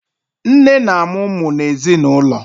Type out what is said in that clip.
Nne na amụ ụmụ n'ezinụlọ